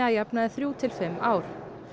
jafnaði þrjú til fimm ár